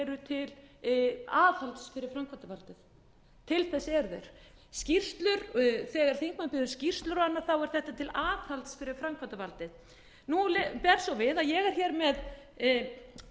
eru til aðhalds fyrir framkvæmdavaldið til þess eru þeir þegar þingmenn biðja um skýrslur og annað þá er þetta til aðhalds fyrir framkvæmdarvaldið nú ber svo við að ég er með fyrirspurn um